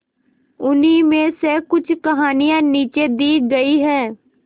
उन्हीं में से कुछ कहानियां नीचे दी गई है